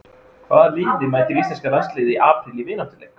Hvaða liði mætir Íslenska landsliðið í apríl í vináttuleik?